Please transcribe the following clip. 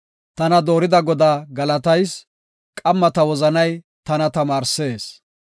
Tana zorida Godaa galatayis; qamma ta wozanay tana tamaarsees.